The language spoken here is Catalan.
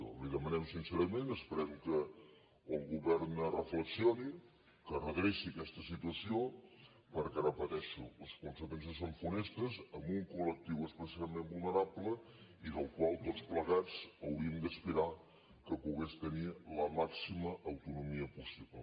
li ho demanem sincerament esperem que el govern reflexioni que redreci aquesta situació perquè ho repeteixo les conseqüències són funestes amb un col·plegats hauríem d’aspirar que pogués tenir la màxima autonomia possible